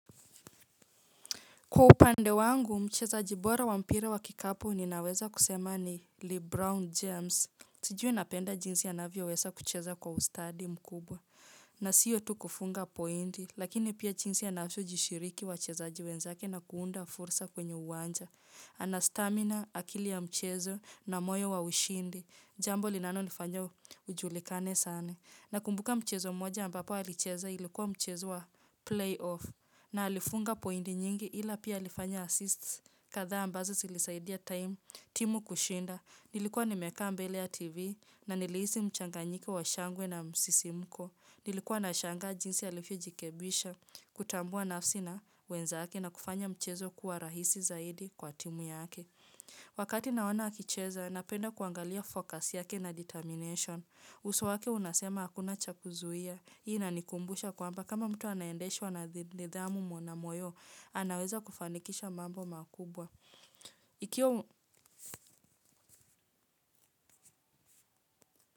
Kwa upande wangu mchezaji bora wa mpira wa kikapu ninaweza kusema ni Lee Brown James sijui napenda jinsi anavyoweza kucheza kwa ustadi mkubwa. Na siyo tu kufunga pointi lakini pia jinsi anavyojishiriki wachezaji wenzake na kuunda fursa kwenye uwanja. Ana stamina akili ya mchezo na moyo wa ushindi jambo linanonifanya ujulikane sana. Nakumbuka mchezo mmoja ambapo alicheza ilikuwa mchezo wa playoff. Na alifunga pointi nyingi ila pia alifanya assist kadhaa ambazo zilisaidia time, timu kushinda, nilikuwa nimekaa mbele ya tv na nilihisi mchanganyiko wa shangwe na msisimko, nilikuwa nashangaa jinsi alivyojirekebisha, kutambua nafsi na wenzake na kufanya mchezo kuwa rahisi zaidi kwa timu yake. Wakati naona akicheza, napenda kuangalia focus yake na determination. Uso wake unasema hakuna cha kuzuia. Hii inanikumbusha kwamba kama mtu anaendeshwa na nidhamu mwana moyo. Anaweza kufanikisha mambo makubwa. Ikiwa.